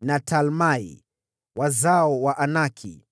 na Talmai, wazao wa Anaki.